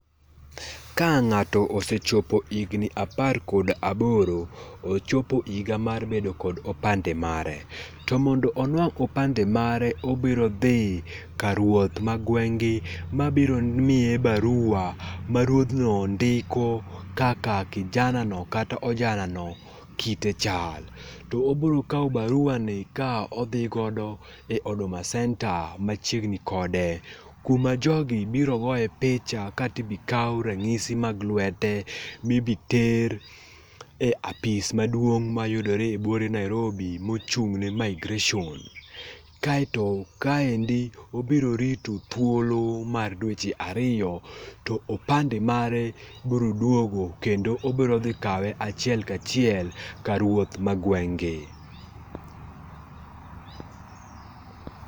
Ka ngato osechopo higni apar kod aboro, ochopo higa mar bedo kod opande mare, to mondo onwang opande mare obiro dhi kar ruoth ma gweng gi mabiro miye barua ma ruodhno ndiko kaka kijana no kata ojana no kite chal, to obiro kaw barua ni ka odhi go e Huduma centre machiegni kode kuma jogi biro goye picha kaito ibiro kaw ranyisi mag lwete mibi ter e apis maduong mayudore e buore Nairobi mochung ne migration, kaito kaendi obiro rito thuolo mar dweche ariyo to opande mare biro duogo kendo obiro dhi kawe achiel kachiel kar ruoth ma gweng gi